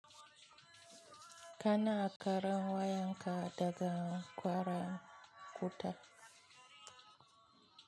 Kana ƙarin wayan ka daga ƙwara ƙuta?